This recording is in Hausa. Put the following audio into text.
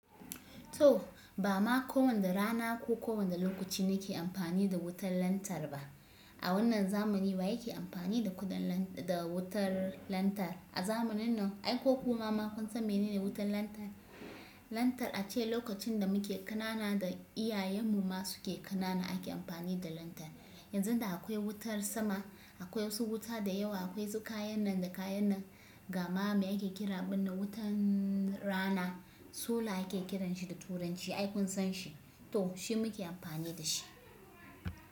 To, ba ma kowane rana ko kowane lokaci na ke amfani da wutar lantar ba. A wannan zamani wa yake amfani da kuɗan da wutar lantarki. A zamanin nan, ai ko ku ma ma kun san menene wutar lantarki. Lantor a ce lokacin da muke ƙanana da iyayenmu ma suke ƙanana ake amfani da lantor. Yanzu da akwai wutar sama, akwai wasu wuta da yawa, akwai kayan nan da kayan nan. Gama mai ake kira wannan wutan rana, solar ake kiran shi da turanci. Ai kun san shi. To shi muke amfani da shi.